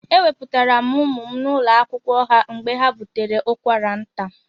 Eweputara m ụmụ m n'ụlọ akwụkwọ ha mgbe ha bụtere ụkwara nta.